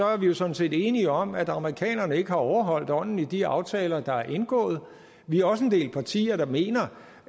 er vi sådan set enige om at amerikanerne ikke har overholdt ånden i de aftaler der er indgået vi er også en del partier der mener